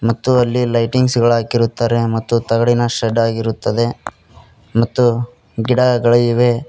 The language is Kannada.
ಮತ್ತು ಅಲ್ಲಿ ಲೈಟಿಂಗ್ಸ್ ಗಳ ಹಾಕಿರುತ್ತಾರೆ ಮತ್ತು ತಗಡಿನ ಶೆಡ್ ಆಗಿರುತ್ತದೆ ಮತ್ತು ಗಿಡಗಳಿವೆ.